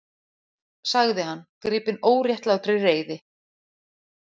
sagði hann, gripinn óréttlátri reiði.